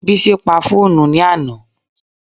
Bísí pa fóònù ní àná